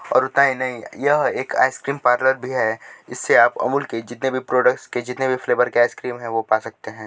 और उतना ही नहीं यह एक आइसक्रीम पार्लर भी है इससे आप अमूल के जितने भी प्रोडक्ट के जितने भी फ्लेवर के आइसक्रीम है वो पा सकते हैं।